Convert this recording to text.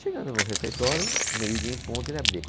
Chegando no refeitório, meio dia em ponto, ele abria.